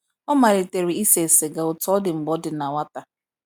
ọ malitere ise siga, otu odi mgbe ọ dị na nwata.